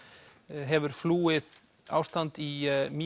hefur flúið ástan í